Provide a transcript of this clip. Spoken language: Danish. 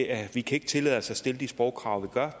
at vi kan tillade os at stille de sprogkrav vi gør